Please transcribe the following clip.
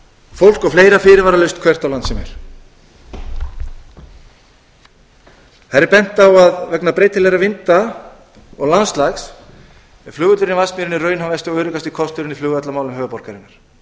fólk og fleira fyrirvaralaust hvert á land sem er þar er bent á að vegna breytilegra vinda og landslags er flugvöllur í vatnsmýrinni raunhæfasti og öruggasti kosturinn í flugvallarmálum höfuðborgarinnar